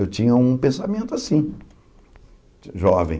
Eu tinha um pensamento assim, jovem.